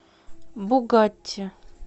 бугатти